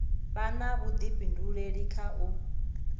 vha na vhuḓifhinduleli kha u